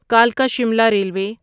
کلکا Shimla railway